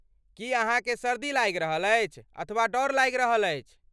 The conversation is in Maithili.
की अहाँकेँ सर्दी लागि रहल अछि अथवा डर लागि रहल अछि?